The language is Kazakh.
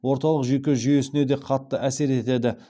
орталық жүйке жүйесіне де қатты әсер етеді